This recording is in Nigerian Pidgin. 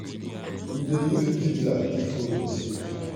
we dey use dibbler dig hole for seed.